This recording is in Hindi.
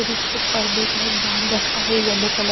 और इसको पर्दे टाइप बाँध रखा है यलो कलर --